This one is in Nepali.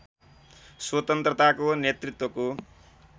स्वतन्त्रताको नेतृत्वको